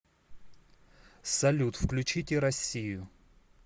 салют включите россию